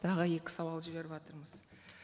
тағы екі сауал жіберіватырмыз